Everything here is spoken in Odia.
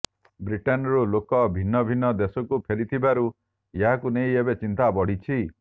ବ୍ରିଟେନ୍ ରୁ ଲୋକ ଭିନ୍ନ ଭିନ୍ନ ଦେଶକୁ ଫେରିଥିବାରୁ ଏହାକୁ ନେଇ ଏବେ ଚିନ୍ତା ବଢିଛି